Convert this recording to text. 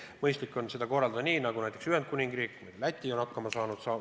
Mõistlik on seda korraldada nii, nagu näiteks Ühendkuningriik ja Läti on hakkama saanud.